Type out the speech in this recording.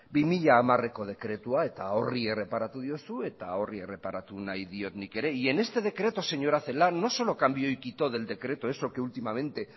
bi mila hamareko dekretua eta horri erreparatu diozu eta horri erreparatu nahi diot nik ere y en este decreto señora celaá no solo cambió y quito del decreto eso que últimamente